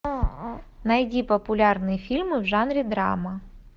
найди популярные фильмы в жанре драма